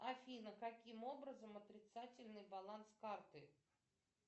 афина каким образом отрицательный баланс карты